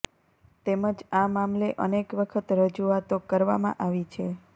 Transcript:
તેમજ આ મામલે અનેક વખત રજુઆતો કરવામાં આવી છે